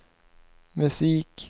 musik